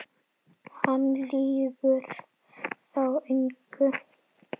Hann lýgur þá engu.